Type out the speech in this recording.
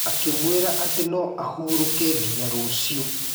Akĩmwĩra atĩ no ahurũke nginya rũcio.